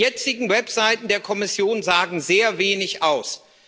Die jetzigen Webseiten der Kommission sagen sehr wenig aus.